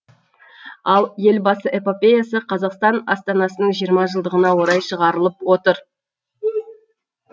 ал елбасы эпопеясы қазақстан астанасының жиырма жылдығына орай шығарылып отыр